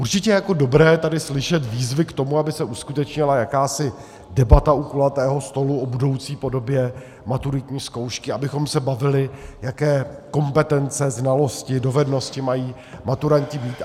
Určitě je jako dobré tady slyšet výzvy k tomu, aby se uskutečnila jakási debata u kulatého stolu o budoucí podobě maturitní zkoušky, abychom se bavili, jaké kompetence, znalosti, dovednosti mají maturanti mít.